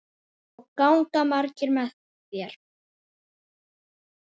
Og ganga margir með þér?